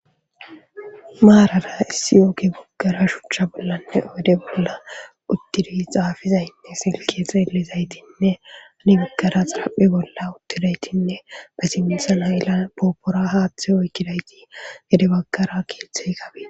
Maarala issi ooki baggara shuchcha bollanne ode bolla uddiri xaafizaynne silke xeelizaytinne ani bagkara xaraphi bolla uttidaytinne ba simxan ayila poopora haaththe oykkidayti gede bagkara keeththey kabe.